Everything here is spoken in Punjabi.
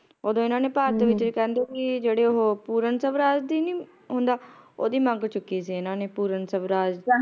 ਓਦੋ ਇਹਨਾਂ ਨੇ ਭਾਰਤ ਦੇ ਵਿੱਚ ਵੀ ਕਹਿੰਦੇ ਕੀ ਜਿਹੜੇ ਉਹ ਪੂਰਨ ਸਵਰਾਜ ਦੀ ਨੀ ਹੁੰਦਾ ਓਹਦੀ ਮੰਗ ਚੁੱਕੀ ਸੀ ਇਹਨਾਂ ਨੇ ਪੂਰਨ ਸਵਰਾਜ